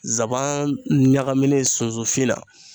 nsaban ɲagaminen sunsunfin na